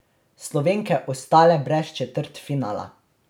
Slovenke ostale brez četrtfinala.